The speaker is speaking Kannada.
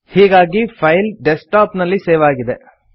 ಹೀಗಾಗಿ ಫೈಲ್ ಡೆಸ್ಕ್ಟಾಪ್ ನಲ್ಲಿ ಸೇವ್ ಆಗಿದೆ